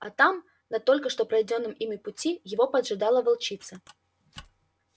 а там на только что пройденном ими пути его поджидала волчица